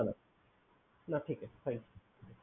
না ঠিক আছে Thank You